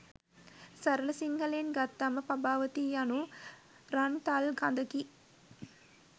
සරල සිංහලයෙන් ගත්තම පබාවතිය යනු රන් තල් කඳකි.